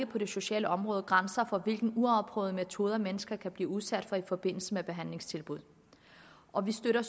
på det sociale område ikke grænser for hvilke uafprøvede metoder mennesker kan blive udsat for i forbindelse med behandlingstilbud og vi støtter